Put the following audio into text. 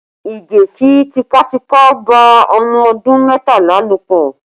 Ige fi tipátipá bá ọmọ ọdún mẹ́tàlá lò pọ